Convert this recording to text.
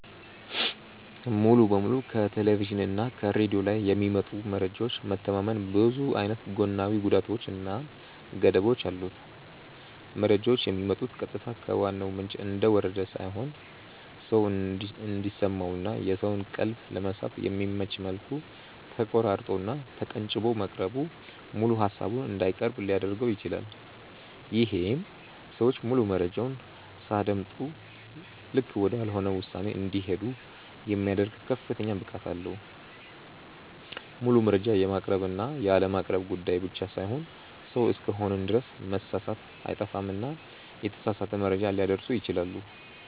ሙሉ በሙሉ ከቴሌቭዥን እና ከሬድዮ ላይ በሚመጡ መረጃዎች መተማመን ብዙ አይነት ጎናዊ ጉዳቶች እና ገደቦች አሉት። መረጃዎቹ የሚመጡት ቀጥታ ከዋናው ምንጭ እንደወረደ ሳይሆን ሰው እንዲሰማው እና የሰውን ቀልብ ለመሳብ በሚመች መልኩ ተቆራርጦ እና ተቀንጭቦ መቅረቡ ሙሉ ሃሳቡን እንዳይቀርብ ሊያድርገው ይችላል። ይሄም ሰዎች ሙሉ መረጃውን ሳያደምጡ ልክ ወዳልሆነ ውሳኔ እንዲሄዱ የሚያደርግ ከፍተኛ ብቃት አለው። ሙሉ መረጃ የማቅረብ እና ያለማቅረብ ጉዳይ ብቻ ሳይሆን ሰው እስከሆንን ድረስ መሳሳት አይጠፋምና የተሳሳተ መረጃ ሊያደርሱ ይችላሉ።